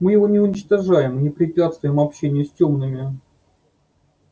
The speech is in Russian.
мы его не уничтожаем и не препятствуем общению с тёмными